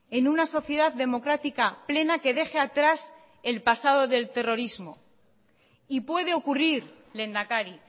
en una sociedad democrática plena que deje atrás el pasado del terrorismo y puede ocurrir lehendakari